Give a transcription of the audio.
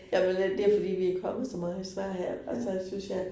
Jamen øh det fordi vi kommet så meget i Sverige. Altså synes jeg